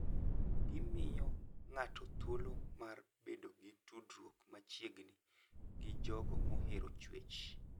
Gimiyo ng'ato thuolo mar bedo gi tudruok machiegni gi jogo mohero chwech.